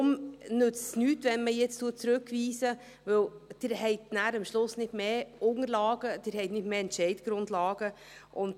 Deshalb nützt es nichts, wenn man jetzt zurückweist, weil Sie nachher nicht Unterlagen, nicht Entscheidungsgrundlagen haben werden.